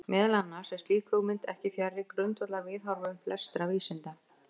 Meðal annars er slík hugmynd ekki fjarri grundvallarviðhorfum flestra vísinda.